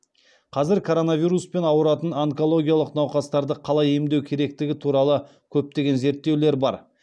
қазір коронавируспен ауыратын онкологиялық науқастарды қалай емдеу керектігі туралы көптеген зерттеулер бар